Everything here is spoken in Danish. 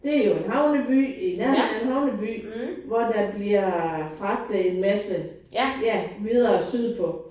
Det jo en havneby i nærheden af en havneby hvor der bliver fragtet en masse ja videre sydpå